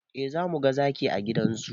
Eh zamuga zaki a gidan zoo